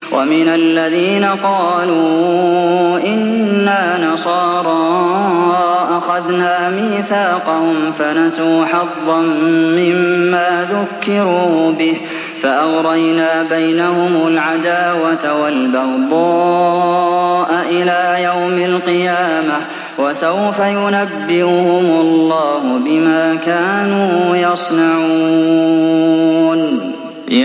وَمِنَ الَّذِينَ قَالُوا إِنَّا نَصَارَىٰ أَخَذْنَا مِيثَاقَهُمْ فَنَسُوا حَظًّا مِّمَّا ذُكِّرُوا بِهِ فَأَغْرَيْنَا بَيْنَهُمُ الْعَدَاوَةَ وَالْبَغْضَاءَ إِلَىٰ يَوْمِ الْقِيَامَةِ ۚ وَسَوْفَ يُنَبِّئُهُمُ اللَّهُ بِمَا كَانُوا يَصْنَعُونَ